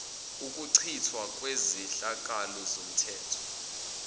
ukuchithwa kwezehlakalo zomthetho